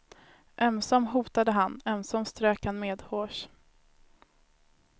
Ömsom hotade han, ömsom strök han medhårs.